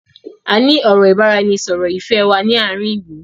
Áà ni ọ̀rọ̀ ìbáraẹnisọọ̀rọ̀ Ifẹ̀ wá ní àárín ìlú.